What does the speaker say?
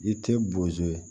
I tɛ bozo ye